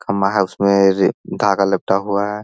खंभा है उसमे रे धागा लपटा हुआ है।